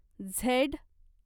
Z